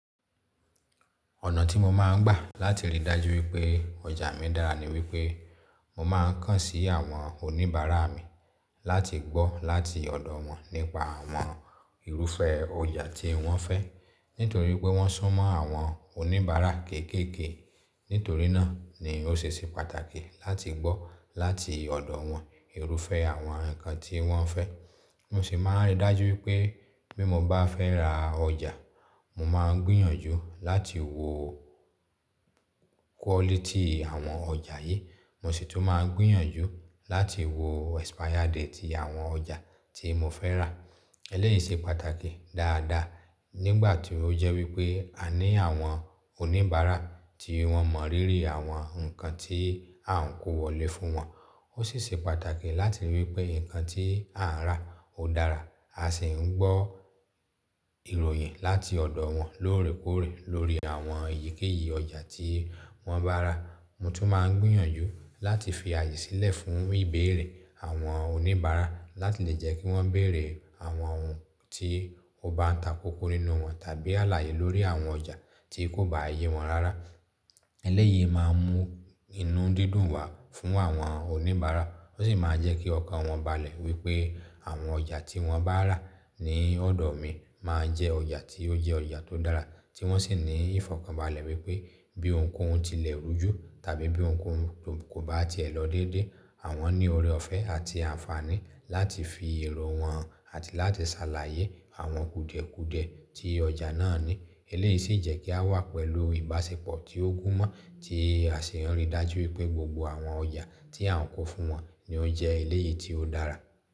Ọ̀nà tí mo máa ń gbà láti ríi dájú wípé ọjà mi dára ni wípé mo máa ń kàn sí àwọn oníbàárà mi láti gbọ́ láti ọ̀dọ̀ wọn nípa àwọn irúfẹ́ ọjà tí wọ́n fẹ́. Nítorí pé wọ́n sún mọ́ àwọn oníbàárà kéékèèké, nítorí náà ni ó ṣe ṣe pàtàkì láti gbọ́ láti ọ̀dọ̀ wọn irúfẹ́ àwọn nǹkan tí wọ́n fẹ́. Mo sì máa ń ríi dájú wípé bí mo bá fẹ́ ra ọjà, mo máa ń gbìyànjú láti wo quality àwọn ọjà yí, mo sì tún máa ń gbìyànjú láti wo expiry date ti àwọn ọjà tí mo fẹ́ rà. Eléyìí ṣe pàtàkì dáadáa nígbà tí ó jẹ́ wípé a ní àwọn oníbàárà tí wọ́n mọ rírì àwọn nǹkan tí à ń kó wọlé fún wọn. Ó sì ṣe pàtàkì láti ríi wípé nǹkan tí à ń rà ó dára. A sì ń gbọ́ ìròyìn láti ọ̀dọ̀ wọn lóòrèkóòrè lórí àwọn eyíkéyìí ọjà tí wọ́n bá rà. Mo tún máa ń gbìyànjú láti fi àyè sílẹ̀ fún ìbéèrè àwọn oníbàárà láti lè jẹ́ kí wọ́n bèèrè àwọn ohun tí ó bá ń takókó nínú wọn tàbí àlàyé lórí àwọn ọjà tí kò bá ye wọn rárá. Eléyìí máa mú inú dídùn wá fún àwọn oníbàárà ó sì máa jẹ́ kí ọkàn wọn balẹ̀ wípé àwọn ọjà tí wọ́n bá rà ní ọ̀dọ̀ mi máa jẹ́ ọjà tí ó jẹ́ ọjà tó dára, tí wọ́n sì ní ìfọ̀kànbalẹ̀ wípé bí ohunkóhun tilẹ̀ rújú tàbí bí ohunkóhun kò bá ti èlò déédéé, àwọn ní ọ̀rẹ́ ọ̀fẹ́ àti àǹfààní láti fi èrò wọn àti láti ṣàlàyé àwọn kùdẹ̀kùdẹ̀ tí ọjà náà ní. Eléyìí sì jẹ́ kí a wà pẹ̀lú ìbáṣepọ̀ tí ó gún mọ́ tí à sì ń ríi dájú wípé gbogbo àwọn ọjà tí à ń kó fún wọn ni ó jẹ́ eléyìí tí ó dára.